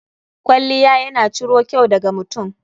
Kwalliya ya na ciro kyau da ga mutum.